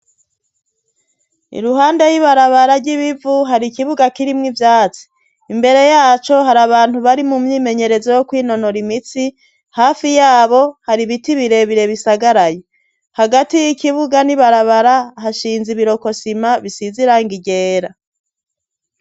Iruhande y'ibarabara ry'ibivu hari ikibuga k'irimwo ivyatsi. Imbere yaco hari abantu bari mu myimenyerezo yo kwinonora imitsi, hafi yabo hari ibiti bire bire bisagaraye. Hagati y'ikibuga n'ibarabara hashinze ibirokosima bisize irangi ryera.